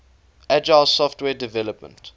agile software development